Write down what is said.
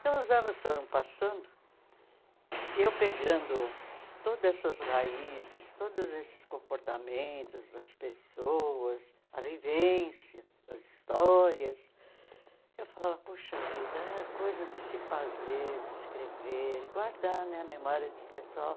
Então, os anos foram passando e eu pegando todas essas raízes, todos esses comportamentos das pessoas, a vivência, as histórias, eu falava, poxa vida, é coisa de se fazer, de escrever, guardar na memória desse pessoal.